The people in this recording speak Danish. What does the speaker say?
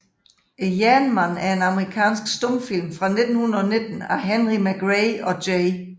Jernmanden er en amerikansk stumfilm fra 1919 af Henry MacRae og J